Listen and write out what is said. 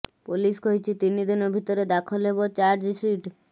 police କହିଛି ତିନି ଦିନ ଭିତରେ ଦାଖଲ ହେବ ଚାର୍ଜସିଟ୍